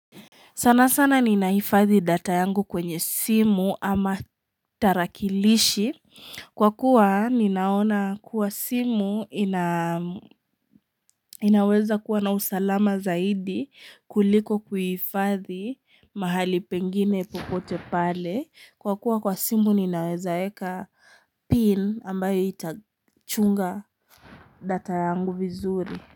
Sana sana ninahifadhi data yangu kwenye simu ama tarakilishi kwa kuwa ninaona kuwa simu inaweza kuwa na usalama zaidi kuliko kuhifadhi mahali pengine popote pale kwa kuwa kwa simu ninawezaeka pin ambayo itachunga data yangu vizuri.